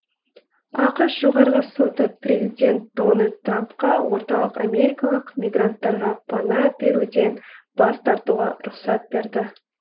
ақш жоғарғы соты президент дональд трампқа орталық америкалық мигранттарға пана беруден бас тартуға рұқсат берді